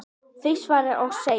þau svara og segja